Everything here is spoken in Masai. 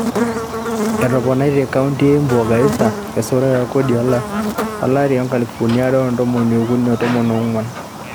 Etoponaitie kaonti e Embu o Garissa esotore e kodi o lari lo nkalifuni are o tomon okuni tomon oonguan